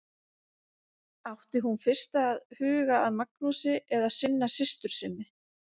Átti hún fyrst að huga að Magnúsi eða sinna systur sinni?